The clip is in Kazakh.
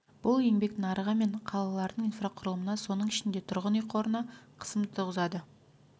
бұл еңбек нарығы мен қалалардың инфрақұрылымына соның ішінде тұрғын үй қорына қысым туғызады